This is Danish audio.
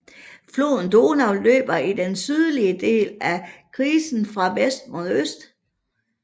Floden Donau løber i den sydlige del af krisen fra vest mod øst